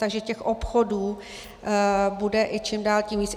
Takže těch obchodů bude i čím dál tím víc.